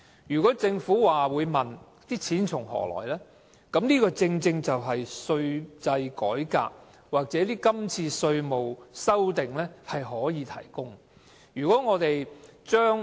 如果政府問錢從何來，這次的稅制改革或稅務修訂正好提供所需的款項。